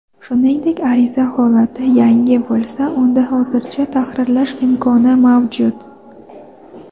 Shuningdek ariza holati "yangi" bo‘lsa unda hozirda tahrirlash imkoni mavjud.